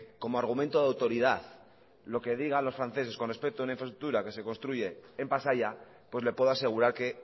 como argumento de autoridad lo que diga los franceses con respeto a una infraestructura que se construye en pasaia pues le puedo asegurar que